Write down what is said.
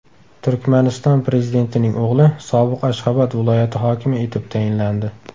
Turkmaniston prezidentining o‘g‘li sobiq Ashxobod viloyati hokimi etib tayinlandi.